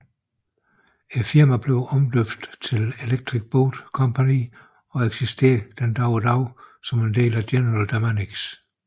Firmaet blev omdøbt til Electric Boat Company og eksisterer i dag som en del af General Dynamics